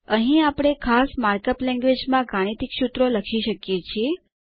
અહીં આપણે ખાસ માર્કઅપ લેન્ગવેજમાં ગાણિતિક સૂત્રો લખી શકીએ છીએ